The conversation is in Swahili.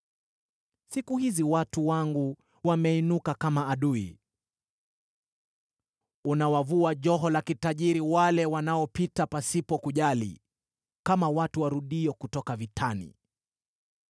Siku hizi watu wangu wameinuka kama adui. Unawavua joho la kitajiri wale wanaopita pasipo kujali, kama watu warudio kutoka vitani.